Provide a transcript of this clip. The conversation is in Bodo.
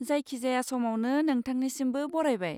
जायखिजाया समावनो नोंथांनिसिमबो बरायबाय!